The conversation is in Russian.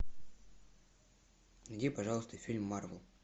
найди пожалуйста фильм марвел